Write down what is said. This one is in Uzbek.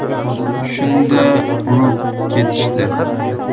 Shunda urib ketishdi.